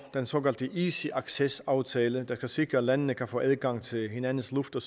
den såkaldte easy access aftale der kan sikre at landene kan få adgang til hinandens luft og